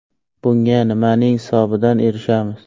Bunga nimaning hisobidan erishamiz?